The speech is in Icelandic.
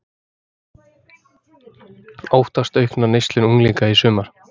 Óttast aukna neyslu unglinga í sumar